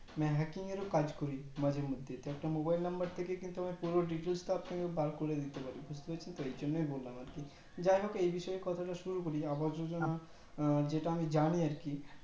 hacking এর কাজ করি মাঝে মধ্যে তা একটা mobile number থেকে কিন্তু আমি পুরো details তা বার করে দিতে পারি সেইজন্যই বললাম আর কি যাইহোক এই বিষয়ে কথা না শুরু করে আবাস যোজনা যেটা আমি জানি কি করে